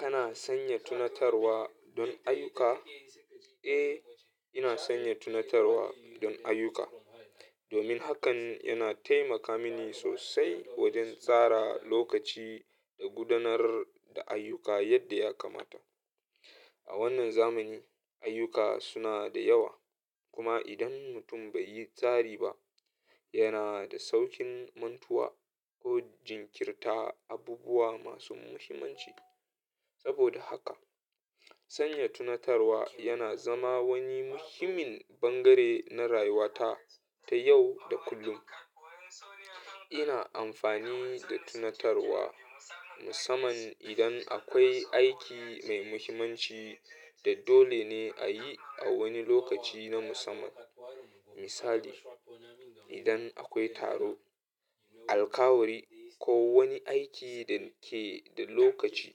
Ka na sanya tunatarwa don ayuka? A, ina sanya tunatarwa don ayuka. Domin hakan yana taimaka mini sosai wajen tsara lokaci da gudanar da ayuka yadda ya kamata. A wannan zamani, ayuka suna da yawa, kuma idan mutum bai yi tsari ba, ya na da saukin mantuwa ko jinkirta abubuwa masu muhimmanci. Saboda haka, sanya tunatarwa yana zama wani muhimmin bangare na rayuwata ta yau da kullum. Ina amfani da tunatarwa musamman idan akwai aiki mai muhimmanci da dole ne a yi a wani lokaci na musamman. Misali, idan akwai taro, alƙawari ko wani aiki da ke da lokaci,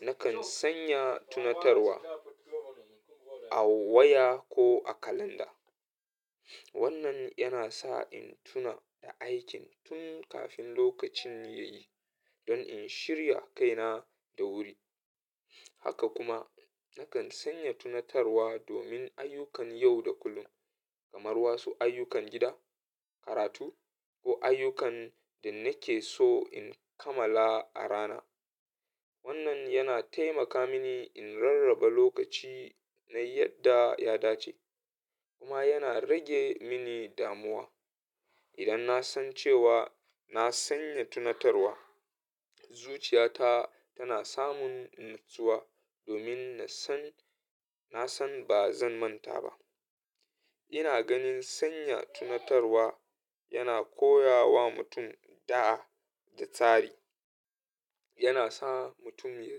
nakan sanya tunatarwa a waya ko a kalanda. Wannan yana sa in tuna da aikin tun kafin lokacin ya yi don in shirya kaina da wuri. Haka kuma, nakan sanya tunatarwa domin ayukan yau da kullum kamar wasu ayukan gida, karatu ko ayukan da nake so in kammala a rana. Wannan yana taimaka mini in rarraba lokaci na yadda ya dace kuma yana rage mini damuwa. Idan na san cewa na sanya tunatarwa, zuciyata tana samun natsuwa domin na san, na san ba zan manta ba. Ina ganin sanya tunatarwa yana koya wa mutum da'a da tsari. Yana sa mutum ya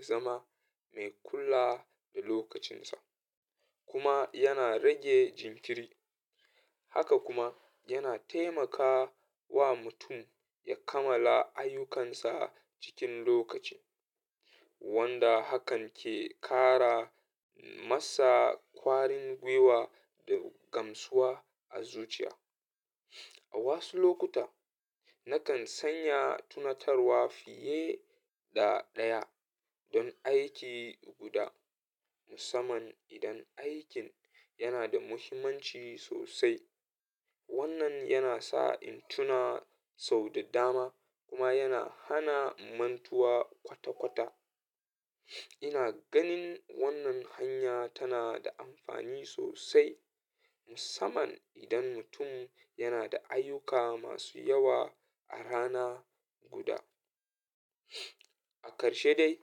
zama mai kula da lokacinsa kuma yana rage jinkiri. Haka kuma, yana taimaka wa mutum ya kammala ayyukansa cikin lokaci, wanda hakan ke ƙara masa ƙwarin gwiwa da gamsuwa a zuciya. A wasu lokuta, nakan sanya tunatarwa fiye da ɗaya don aiki guda, musamman idan aikin yana da muhimmanci sosai. Wannan yana sa in tuna sau da dama kuma yana hana mantuwa kwata-kwata. Ina ganin wannan hanya tana da amfani sosai, musamman idan mutum yana da ayuka masu yawa a rana guda. A ƙarshe dai,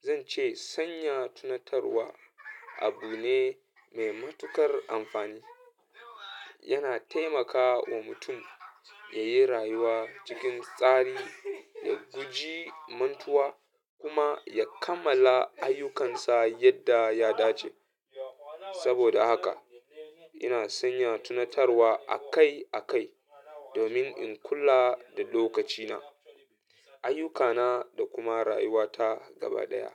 zan ce sanya tunatarwa abu ne mai matuƙar amfani. Yana taimaka wa mutum ya yi rayuwa cikin tsari, ya guji mantuwa kuma ya kammala ayyukansa yadda ya dace. Saboda haka, ina sanya tunatarwa akai-akai domin in kula da lokacina, ayyukana da kuma rayuwata gaba ɗaya.